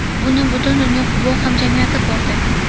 Buni butun dunyo futbol hamjamiyati ko‘rdi.